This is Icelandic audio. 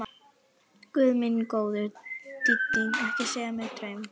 Guð minn góður, Dídí, ekki segja mér draum.